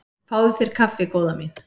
Fáðu þér kaffi góða mín.